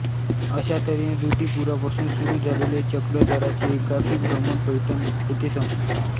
अशा तऱ्हेने ऋद्धिपुरापासून सुरू झालेले चक्रधरांचे एकाकी भ्रमण पैठण येथे संपले